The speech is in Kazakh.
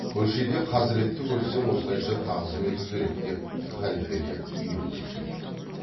көшеде қазіретті көрсең осылайша тағзым ету керек деп халфелер үйретуші еді